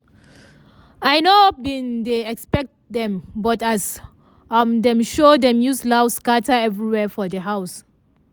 i nor bin dey expect dem but as um dem show dem use laugh scatter everywhere for di house.